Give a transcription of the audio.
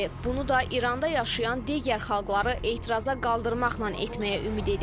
Bunu da İranda yaşayan digər xalqları etiraza qaldırmaqla etməyə ümid edir.